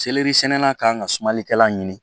sɛnɛnna kan ka sumalikɛla ɲini